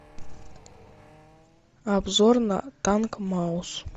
обзор на танк маус